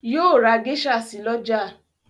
Yóò ra geisha si lọ́la